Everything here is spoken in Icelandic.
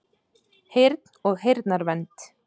Heyrn og heyrnarvernd